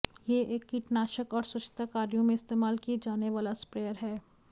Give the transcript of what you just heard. यह एक कीटानाशक और स्वच्छता कार्यों में इस्तेमाल किए जाने वाला स्प्रेयर है